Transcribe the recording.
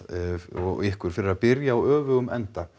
og ykkur fyrir það að byrja á öfugum enda